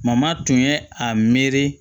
Mama tun ye a miiri